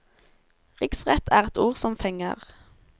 Riksrett er et ord som fenger.